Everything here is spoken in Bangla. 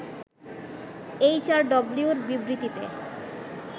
এইচআরডব্লিউর বিবৃতিতে